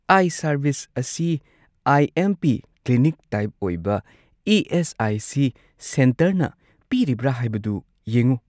ꯑꯥꯏ service ꯑꯁꯤ I M P clinic type ꯑꯣꯏꯕ ꯏ.ꯑꯦꯁ.ꯑꯥꯏ.ꯁꯤ. ꯁꯦꯟꯇꯔꯅ ꯄꯤꯔꯤꯕ꯭ꯔꯥ ꯍꯥꯏꯕꯗꯨ ꯌꯦꯡꯎ꯫